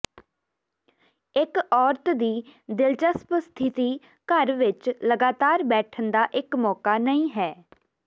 ਇੱਕ ਔਰਤ ਦੀ ਦਿਲਚਸਪ ਸਥਿਤੀ ਘਰ ਵਿੱਚ ਲਗਾਤਾਰ ਬੈਠਣ ਦਾ ਇੱਕ ਮੌਕਾ ਨਹੀਂ ਹੈ